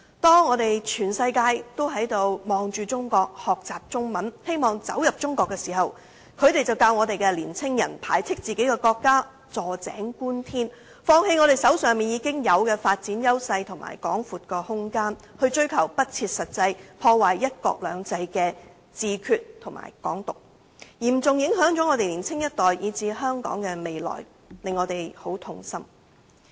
當全世界都望向中國，學習中文，希望走進中國，他們卻教導青年人排斥自己的國家，坐井觀天，放棄手上已有的發展優勢及廣闊空間，去追求不切實際、破壞"一國兩制"的"自決"和"港獨"，嚴重影響到年輕一代以至香港的未來，令人痛心。